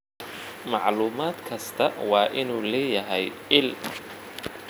Macluumaad kastaa waa inuu leeyahay il.